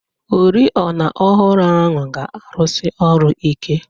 Oriọna ọhụrụ ahụ ga-arụsi ọrụ ike.